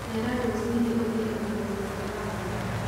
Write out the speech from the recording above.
Cera rũci-inĩ ũgĩe ũgima mwega ngoro